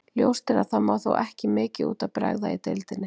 Ljóst er að það má þó ekki mikið út af bregða í deildinni.